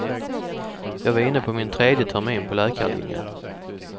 Jag var inne på min tredje termin på läkarlinjen.